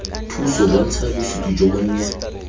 thuso bontsha bosupi jo bonnye